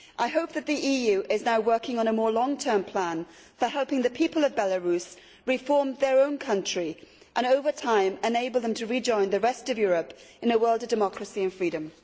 I hope that the EU is now working on a more long term plan for helping the people of Belarus reform their own country and over time enabling them to rejoin the rest of Europe in a world of democracy and freedom.